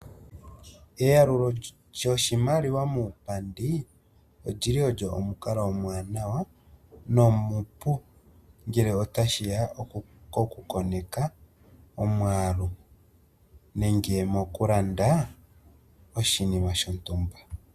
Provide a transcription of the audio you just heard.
Eyalulo lyoshimaliwa muupandi olyili olyo omukalo omuwanawa nomupu ngele otashiya koku koneka omwaalu nenge mokulanda oshinima shontumba.